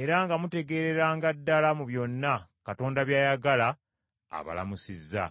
era nga mutegeereranga ddala mu byonna Katonda by’ayagala, abalamusizza.